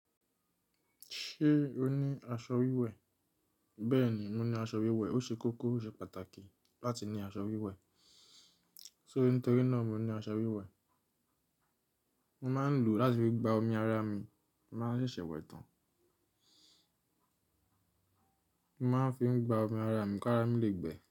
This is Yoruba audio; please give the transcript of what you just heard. Ṣé o ní aṣọ wíwẹ̀? Bẹ́ẹ̀ni, mo ní aṣọ wíwẹ̀. Ó ṣe kókó, ó ṣe pàtàkì láti ní aṣọ wíwẹ̀. Sórí n tóri náà mo ní aṣọ wíwẹ̀. Mo máa ń lò ó láti fi gba omi ara mi, n máa ń ṣẹ̀ṣẹ̀ wẹ̀ tán. Mo máa ń fi gba omi ara mi kí ara mi lè gbẹ.